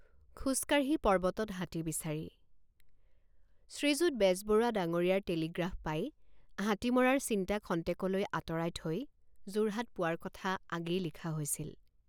খোজকাঢ়ি পৰ্বতত হাতী বিচাৰি শ্ৰীযুত বেজবৰুৱা ডাঙৰীয়াৰ টেলিগ্ৰাফ পাই হাতী মৰাৰ চিন্তা খন্তেকলৈ আঁতৰাই থৈ যোৰহাট পোৱাৰ কথা আগেয়ে লিখা হৈছিল।